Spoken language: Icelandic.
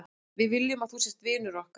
Við viljum að þú sért vinur okkar.